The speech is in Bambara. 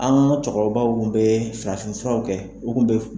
An ka cɛkɔrɔbaw kun bɛ farafin furaw kɛ, u kun bɛ.